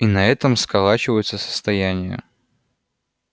и на этом сколачиваются состояния